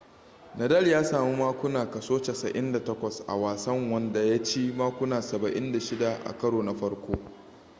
nadal ya sami makuna 88% a wasan wanda ya ci makuna 76 a karo na farko